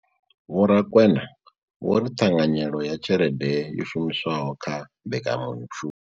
Vho Rakwena vho ri ṱhanganyelo ya tshelede yo shumiswaho kha mbekanya mushumo.